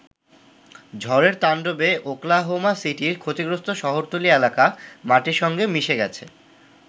ঝড়ের তান্ডবে ওকলাহোমা সিটির ক্ষতিগ্রস্ত শহরতলী এলাকা মাটির সঙ্গে মিশে গেছে।